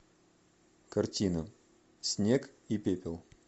картина снег и пепел